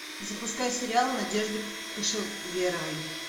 запускай сериал надежды кошеверовой